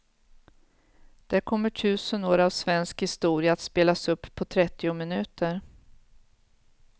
Där kommer tusen år av svensk historia att spelas upp på trettio minuter.